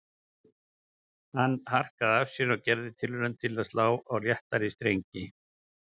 Hann harkaði af sér og gerði tilraun til að slá á léttari strengi